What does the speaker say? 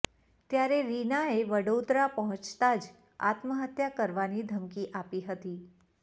ત્યારે રીનાએ વડોદરા પહોંચતા જ આત્મહત્યા કરવાની ધમકી આપી હતી